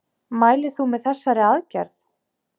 Mælir þú með þessari aðgerð?